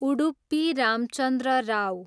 Udupi Ramachandra Rao